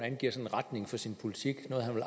at